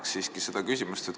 Ma jätkan seda küsimust.